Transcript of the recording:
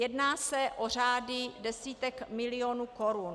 Jedná se o řády desítek milionů korun.